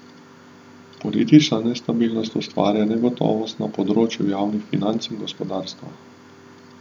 Politična nestabilnost ustvarja negotovost na področju javnih financ in gospodarstva.